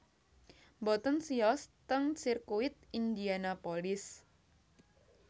Mboten siyos ten sirkuit Indianapolis